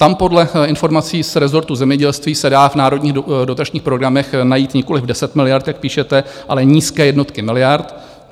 Tam podle informací z resortu zemědělství se dá v národních dotačních programech najít nikoliv deset miliard, jak píšete, ale nízké jednotky miliard.